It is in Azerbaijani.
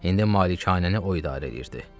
İndi malikanəni o idarə eləyirdi.